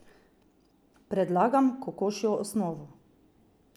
Predlagam kokošjo osnovo.